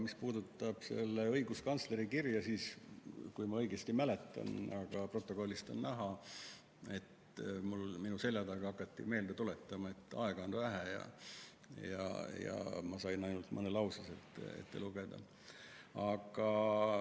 Mis puudutab õiguskantsleri kirja, siis kui ma õigesti mäletan ja stenogrammist on see ka näha, et minu selja taga hakati meelde tuletama, et aega on vähe, ja ma sain ainult mõne lause sellest ette lugeda.